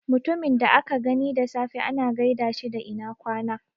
Mutumin da aka gani da safe ana gaida shi da ina ƙwana